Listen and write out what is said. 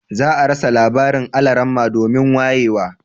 Za a rasa labarin almara domin wayewa